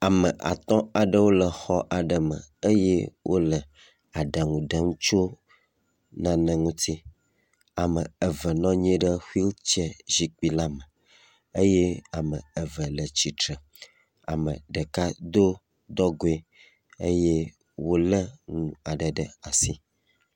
Ame etɔ̃ aɖewo le xɔ aɖe me eye wole aɖaŋu ɖem tso nane ŋuti. Ame eve nɔ anyi ɖe xuil tsɛy zikpui la me eye ame eve le tsitre, ame ɖeka do dɔgoe eye wòlé nu aɖe ɖe asi.